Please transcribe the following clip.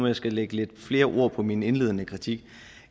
jeg skal lægge lidt flere ord på min indledende kritik